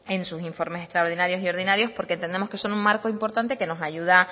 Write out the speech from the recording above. en sus informes extraordinarios y ordinarios porque entendemos que son un marco importante que nos ayuda